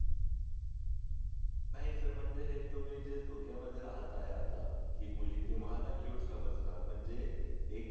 नाही सर म्हणजे हे तुम्ही जे धोक्यामध्ये राहत आहे आता की मुली तुम्हाला क्युट समजणार म्हणजे एक